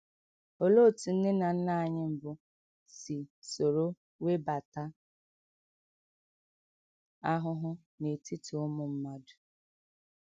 Olee otú nne na nna anyị mbụ si soro webata ahụhụ n’etiti ụmụ mmadụ?